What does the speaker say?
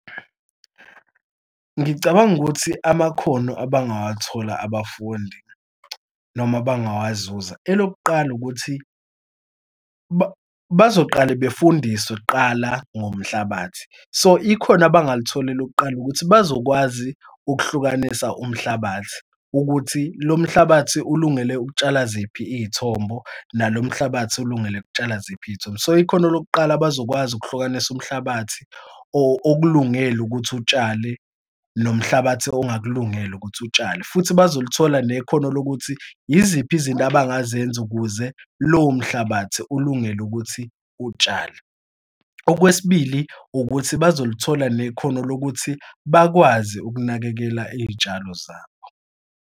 Ngicabanga ukuthi amakhono abangawathola abafundi noma abangawazuza, elokuqala ukuthi, bazoqala befundiswe kuqala ngomhlabathi, so ikhona abangalithola elokuqala ukuthi bazokwazi ukuhlukanisa umhlabathi ukuthi lo mhlabathi ulungele ukutshala ziphi iy'thombo nalo mhlabathi ulungele ukutshala ziphi iy'thombo. So, ikhono lokuqala bazokwazi ukuhlukanisa umhlabathi okulungelwe ukuthi utshale nomhlabathi ongakulungela ukuthi utshale. Futhi bazolithola nekhono lokuthi iziphi izinto abangazenza ukuze lowo mhlabathi ulungele ukuthi utshale. Okwesibili, ukuthi bazolithola nekhono lokuthi bakwazi ukunakekela iy'tshalo zabo.